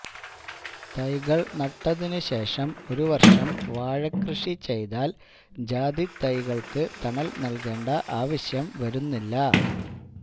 തൈകള് നട്ടതിനു ശേഷം ഒരു വര്ഷം വാഴക്കൃഷി ചെയ്താല് ജാതി തൈകള്ക്ക് തണല് നല്കേണ്ട ആവശ്യം വരുന്നില്ല